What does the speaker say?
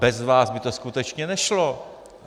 Bez vás by to skutečně nešlo.